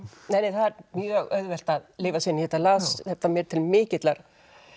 það er mjög auðvelt að lifa sig inn í þetta ég las þetta mér til mikillar